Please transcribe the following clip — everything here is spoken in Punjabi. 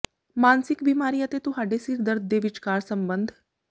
ਮਾਨਸਿਕ ਬਿਮਾਰੀ ਅਤੇ ਤੁਹਾਡੇ ਸਿਰ ਦਰਦ ਦੇ ਵਿਚਕਾਰ ਸੰਬੰਧ